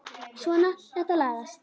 Svona, þetta lagast